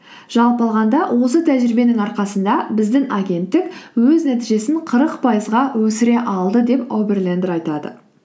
жалпы алғанда осы тәжірибенің арқасында біздің агенттік өз нәтижесін қырық пайызға өсіре алды деп оберлендер айтады